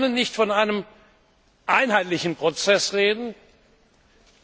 Wir können nicht von einem einheitlichen Prozess sprechen.